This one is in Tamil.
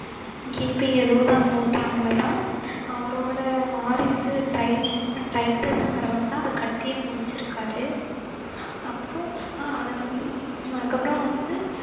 கிபி எழுவதாம் நூற்றாண்டுல தான் அவரோட வாரிசு டைப்~ டைப்பஸ்ங்கிறவர்தான் அத கட்டியே முடிச்சிருக்காரு அப்புறம் அஹ் அத வந்~ அதுக்கப்புறம் வந்து